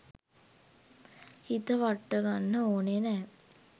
හිත වට්ටගන්න ඕනේ නැ.